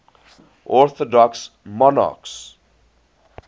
orthodox monarchs